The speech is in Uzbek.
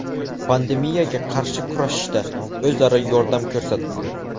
Pandemiyaga qarshi kurashishda o‘zaro yordam ko‘rsatildi.